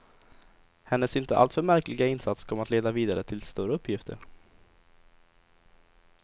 Hennes inte alltför märkliga insats kom att leda vidare till större uppgifter.